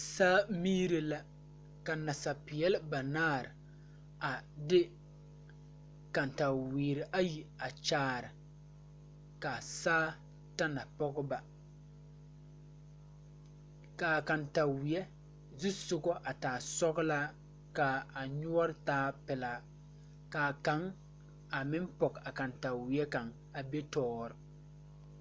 Saa miire la ka nasapeɛle banaare a de katawiire ayi a kyaare ka saa ta na pɔge ba kaa kantaweɛ zusugɔ a taa sɔglaa kaa a nyoore taa pelaa ka kaŋ a meŋ pɔge a kantaweɛ kaŋ a be toore.